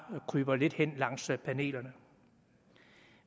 kryber lidt hen langs panelerne